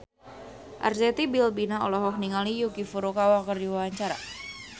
Arzetti Bilbina olohok ningali Yuki Furukawa keur diwawancara